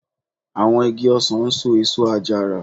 Àwọn igi ọsàn ń so èso àjàrà